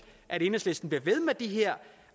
at enhedslisten bliver ved med de her